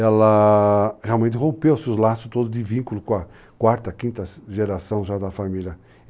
Ela realmente rompeu seus laços todos de vínculo com a quarta, quinta geração já da família.